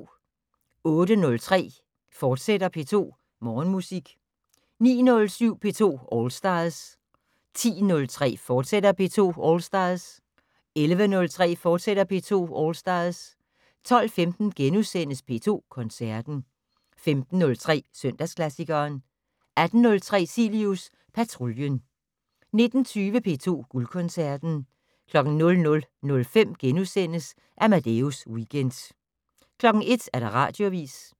08:03: P2 Morgenmusik, fortsat 09:07: P2 All Stars 10:03: P2 All Stars, fortsat 11:03: P2 All Stars, fortsat 12:15: P2 Koncerten * 15:03: Søndagsklassikeren 18:03: Cilius Patruljen 19:20: P2 Guldkoncerten 00:05: Amadeus Weekend * 01:00: Radioavis